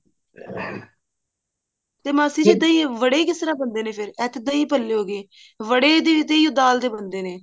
ਤੇ ਮਾਸੀ ਜੀ ਤੁਸੀਂ ਬੜੇ ਕਿਸ ਤਰ੍ਹਾਂ ਬਣਦੇ ਨੇ ਫ਼ੇਰ ਇਹ ਤਾਂ ਦਹੀਂ ਭੱਲੇ ਹੋਗੇ ਵੜੇ ਵੀ ਤੇ ਇਹੋ ਦਾਲ ਦੇ ਬਣਦੇ ਨੇ